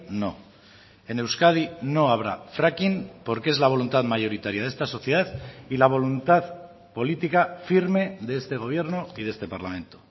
no en euskadi no habrá fracking porque es la voluntad mayoritaria de esta sociedad y la voluntad política firme de este gobierno y de este parlamento